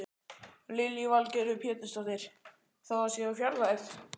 Lillý Valgerður Pétursdóttir: Þó það sé úr fjarlægð?